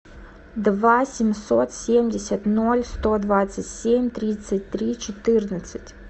два семьсот семьдесят ноль сто двадцать семь тридцать три четырнадцать